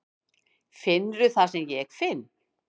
Finnurðu það sem ég finn?